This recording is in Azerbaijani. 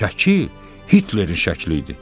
Şəkil Hitlerin şəkli idi.